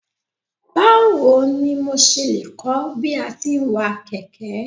Báwo ni mo ṣe lè kọ́ bí a ti ń wa kẹ̀kẹ́.